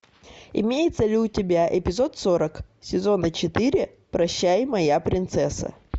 имеется ли у тебя эпизод сорок сезона четыре прощай моя принцесса